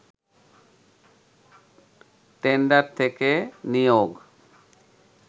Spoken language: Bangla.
টেন্ডার থেকে নিয়োগ